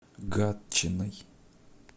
гатчиной